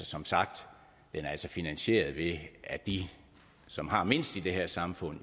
som sagt finansieret ved at de som har mindst i det her samfund